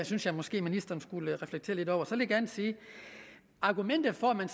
synes jeg måske ministeren skulle reflektere lidt over så vil jeg gerne sige at argumentet om at